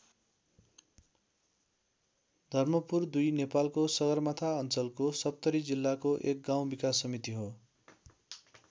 धर्मपुर २ नेपालको सगरमाथा अञ्चलको सप्तरी जिल्लाको एक गाउँ विकास समिति हो।